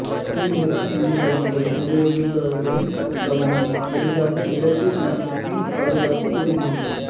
தீமூட்டும் அணிகலன்கள் உபயோகிப்பவர்களில் கவனம் எளிதாக இலக்கு மற்றும் தீ பாதுகாப்பு உறுதி